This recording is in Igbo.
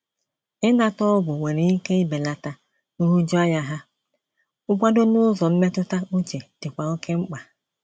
Ịnata ọgwụ nwere ike ibelata nhụjuanya ha, nkwado n’ụzọ mmetụta uche dịkwa oké mkpa.